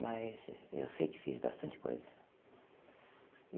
Mas eu sei que fiz bastante coisa.